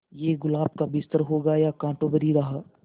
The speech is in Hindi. ये गुलाब का बिस्तर होगा या कांटों भरी राह